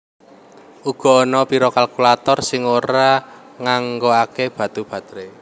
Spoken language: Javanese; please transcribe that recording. Uga ana pira kalkulator sing ora nganggokaké batu baterai